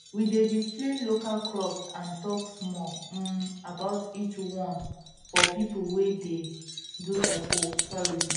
we dey display local crops and talk small um about each one for people wey dey do ecotourism